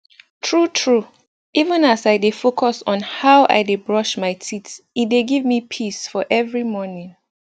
true true even as i dey focus on how i dey brush my teeth e dey give me peace for every morning